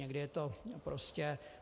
Někdy je to prostě...